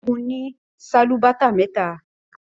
Segun ní Sálúbàtà méta.